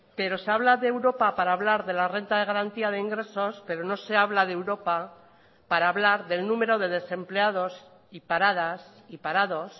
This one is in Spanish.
pero se habla de europa para hablar de la renta de garantía de ingresos pero no se habla de europa para hablar del número de desempleados y paradas y parados